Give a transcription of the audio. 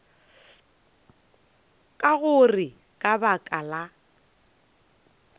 ka gore ka baka la